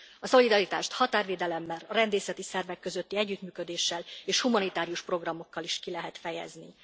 A szolidaritást határvédelemmel, a rendészeti szervek közötti együttműködéssel és humanitárius programokkal is ki lehet fejezni.